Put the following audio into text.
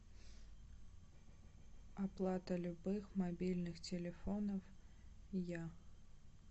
оплата любых мобильных телефонов я